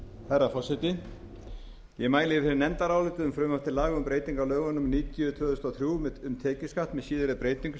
herra forseti ég mæli hér fyrir nefndaráliti um frumvarp til laga um breytingu á lögum númer níutíu tvö þúsund og þrjú um tekjuskatt með síðari breytingum